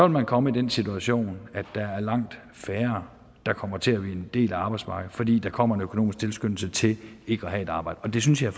man komme i den situation at der er langt færre der kommer til at blive en del af arbejdsmarkedet fordi der kommer en økonomisk tilskyndelse til ikke at have et arbejde og det synes jeg